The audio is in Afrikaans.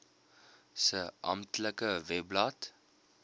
se amptelike webblad